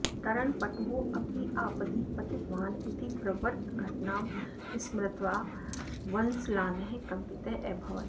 तरणपटुः अपि आपदि पतितवान् इति प्रवृत्तघटनां स्मृत्वा वन्सलानः कम्पितः अभवत्